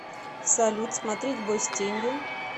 салют смотреть бой с тенью